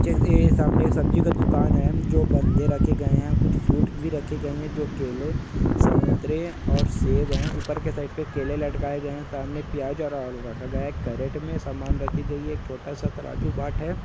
ये सामने एक सब्जी का दुकान है जो बंदे रखे गए है| कुछ फ्रूट भी रखे गए है जो केले संतरे और सेब है| ऊपर के साइड पे केले लटकाए गए है| सामने प्याज और आलू रखा गया है| केरेट में सामान रखी गई है| एक छोटा स तराजू बाट है।